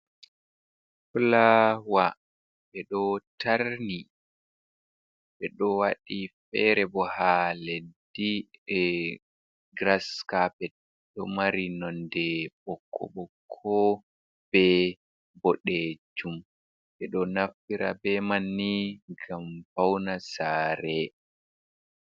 Fuawa ɓeɗo tarni, ɓe ɗo waɗi fere bo ha leddi e gras capet ɗo mari nonde bokko-bokko be boɗejum, ɗe ɗo nafitra be manni ngam fauna saare.